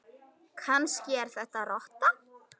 Kannski er þetta rotta?